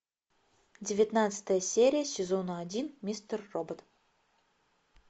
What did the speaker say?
девятнадцатая серия сезона один мистер робот